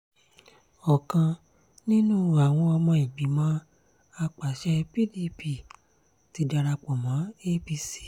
ọ̀kan nínú àwọn ọmọ ìgbìmọ̀ àpasẹ̀ pdp ti darapọ̀ mọ́ apc